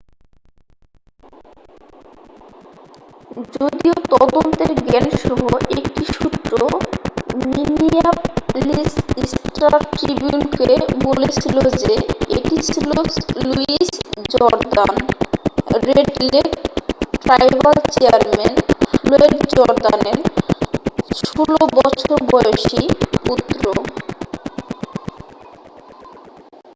যদিও তদন্তের জ্ঞানসহ একটি সূত্র মিনিয়াপলিস স্টার-ট্রিবিউনকে বলেছিল যে এটি ছিল Louis Jourdain Red Lake tribal chairman Floyd জর্দানের 16 বছর বয়সী পুত্র